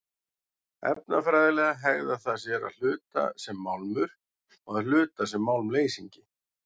Efnafræðilega hegðar það sér að hluta sem málmur og að hluta sem málmleysingi.